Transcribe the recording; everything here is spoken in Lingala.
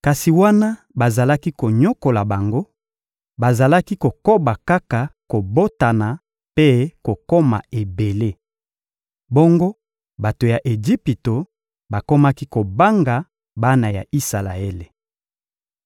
Kasi wana bazalaki konyokola bango, bazalaki kokoba kaka kobotana mpe kokoma ebele. Bongo bato ya Ejipito bakomaki kobanga bana ya Isalaele.